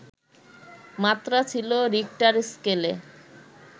মাত্রা ছিল রিখটার স্কেলে